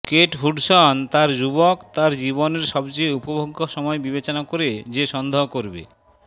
Kate Hudson তার যুবক তার জীবনের সবচেয়ে উপভোগ্য সময় বিবেচনা করে যে সন্দেহ করবে